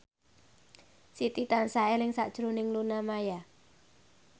Siti tansah eling sakjroning Luna Maya